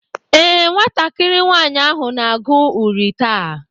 Ee, nwatakịrị nwaanyị ahụ na-agụ uri taa.